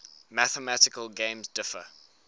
mathematical games differ